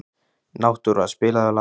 Náttúra, spilaðu lag.